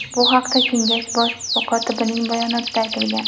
Bu haqda Kengash bosh kotibining bayonotida aytilgan .